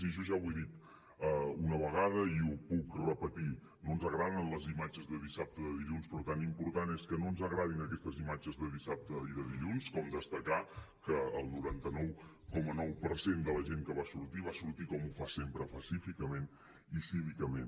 i jo ja ho he dit una vegada i ho puc repetir no ens agraden les imatges de dissabte i de dilluns però tan important és que no ens agradin aquestes imatges de dissabte i de dilluns com destacar que el noranta nou coma nou per cent de la gent que va sortir va sortir com ho fa sempre pacíficament i cívicament